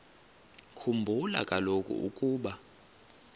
khumbula kaloku ukuba